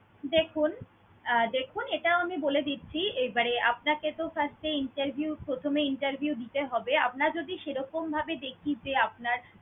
দেখুন আহ দেখুন এইটাও আমি বলে দিচ্ছি এ~ মানে আপনাকে তো first এ interview প্রথমে interview দিতে হবে, আপনার যদি সেরকম ভাবে দেখি যে আপনার